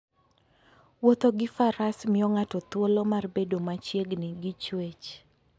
Wuotho gi Faras miyo ng'ato thuolo mar bedo machiegni gi chwech.